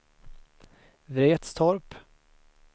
Vretstorp